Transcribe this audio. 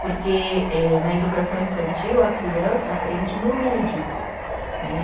Porque eh na educação infantil, a criança aprende no lúdico né.